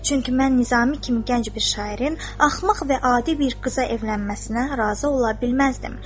Çünki mən Nizami kimi gənc bir şairin axmaq və adi bir qıza evlənməsinə razı ola bilməzdim.